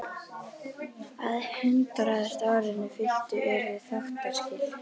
Að hundraðasta árinu fylltu yrðu þáttaskil.